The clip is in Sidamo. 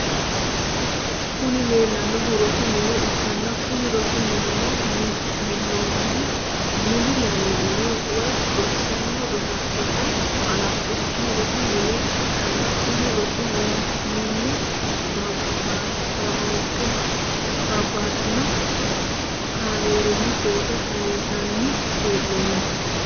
kuni lelanohu rosu mine ikana kuni rosu minino minaminohu muli yanani woy rosano roso hanfinoki rosu mine ikana kuni rosu mine babtino camerini photo kayinisani henonni.